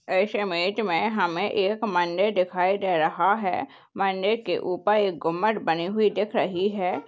इस इमेज में हमें एक मंदिर दिखाई दे रहा है मंदिर के ऊपर एक गुमंद बनी हुई दिख रही है।